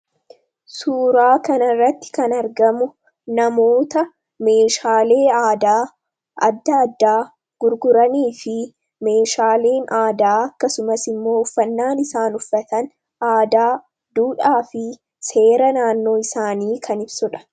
suuraa kanirratti kan argamu namoota meeshaalee dadda addaa gurguranii fi meeshaaleen aadaa akkasumas immoo uffannaan isaan uffatan aadaa duudhaa fi seera naannoo isaanii kan ibsodha